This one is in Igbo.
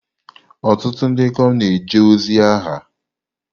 Ọtụtụ ndị ikom na-eje ozi agha.